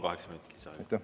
Võtaksin veel kolm minutit.